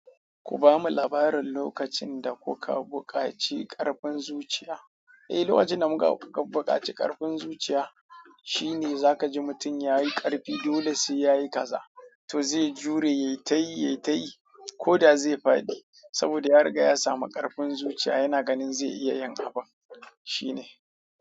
Ku bamu labarin lokacin da kuka buƙaci ƙarfin zuciya. Eh, lokacin da muka bukaci karfin zuciya shine zaka ji mutum yayi karfi dole sai yayi kaza to zai jure yayi ta yi, yayi ta yi ko da zai fadi saboda ya riga ya samu karfin zuciya yana ganin zai iya yin abun, shine.